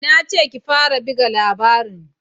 Na ce ki fara buga labarin!